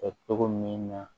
Kɛ togo min na